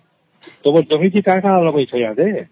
ତମର ଜମିରେ କଣ କଣ ଲଗେଇଛ ?